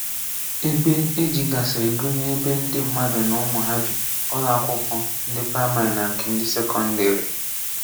Ebe e jigasịrị gụnyere ebe ndị mmadụ na ụmụ ha bi, ụlọ akwụkwọ ndị praimarị na nke ndị sekọndịrị.